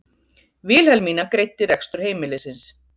Vilhelmína greiddi rekstur heimilisins.